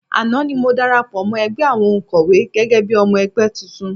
Àná ni mo darapọ̀ mọ́ ẹgbẹ́ àwọn òǹkọ́wé gẹ́gẹ́ bí i ọmọ ẹgbẹ́ tuntun